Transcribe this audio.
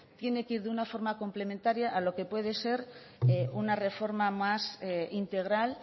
tiene que ir de una forma complementaria a lo que puede ser una reforma más integral